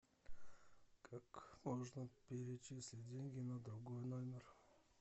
как можно перечислить деньги на другой номер